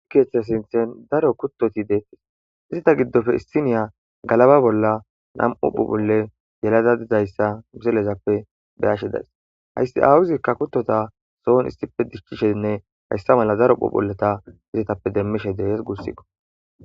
Keeththe sinththen daro kuttoti deettes izeta giddoppe issiniya galaba bolla nam'u phuuphphulle yelada dizayssa miselezappe be'ashe days hayssi aawuzikka kuttota sohon issippe diichchishenne hayssa mala daro phuuphphuleta izetappe demmishe de'ees guussikko